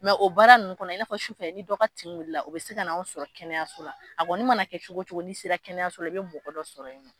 o baara nunnu kɔnɔ i na fɔ su fɛ ni dɔ ka tin wilila o bɛ se ka na anw sɔrɔ kɛnɛyaso la, a kɔni mana kɛ cogo cogo ni sera kɛnɛyaso la i bɛ mɔgɔ dɔ sɔrɔ yen nɔ.